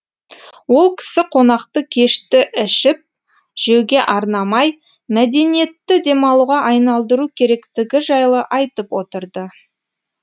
ол кісі қонақты кешті ішіп жеуге арнамай мәдениетті демалуға айналдыру керектігі жайлы айтып отыр ды